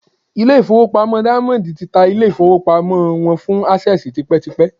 ilé-ìfowópamọ́ Diamond ti ta ilé-ìfowópamọ́ wọn fún Access tipẹ́tipẹ́